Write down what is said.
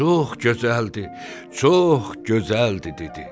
Çox gözəldir, çox gözəldir, dedi.